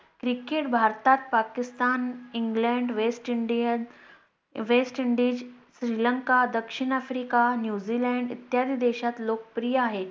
Cricket भारतात, Pakistan, England, West IndianWestIndies, Sri Lanka, दक्षिण Africa, New Zealand इत्यादी देशात लोकप्रिय आहे.